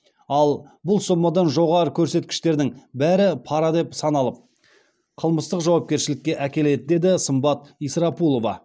ал бұл сомадан жоғары көрсеткіштердің бәрі пара деп саналып қылмыстық жауапкершілікке әкеледі деді сымбат исрапулова